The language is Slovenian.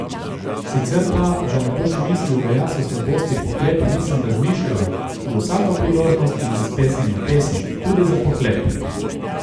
Sicer pa, da ne boš mislil, da jaz o slabostih pohlepa nisem razmišljala, za vsako priložnost imam spesnjeno pesem, tudi za pohlep!